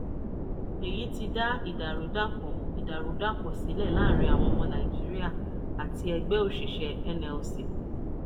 èyí ti dá ìdàrúdàpọ̀ ìdàrúdàpọ̀ sílẹ̀ láàrin àwọn ọmọ nàìjíríà àti ẹgbẹ́ òṣìṣẹ́ nlc.